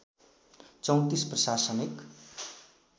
३४ प्रशासनिक